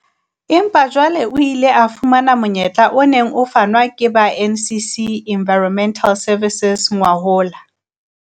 Empa jwale o ile a fumana monyetla o neng o fanwa ke ba NCC Environmental Services ngwahola.